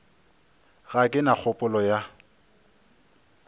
ga ke na kgopolo ya